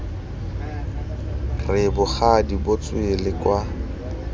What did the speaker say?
re bogadi bo tswele kwa